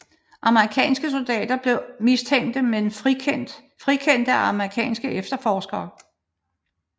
Amerikanske soldater blev mistænkte men frikendte af amerikanske efterforskere